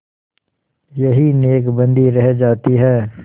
यही नेकबदी रह जाती है